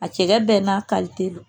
A cɛkɛ bɛ n'a